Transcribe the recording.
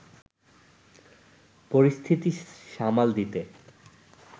পরিস্থিতি সামাল দিতে